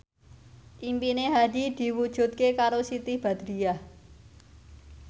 impine Hadi diwujudke karo Siti Badriah